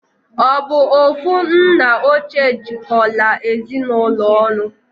Obu ofu nna oche jikola Ezinụlọ onu?